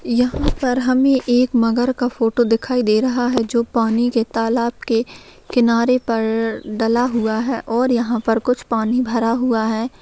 यहाँ पर हमें एक मगर का फोटो दिखाई दे रहा है जो पानी के तालाब के किनारे पर डला हुआ है और यहाँ पर कुछ पानी भरा हुआ है।